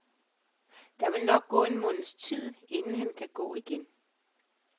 Der vil nok gå en måneds tid, inden han kan gå igen.